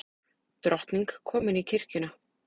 Drottning komin í kirkjuna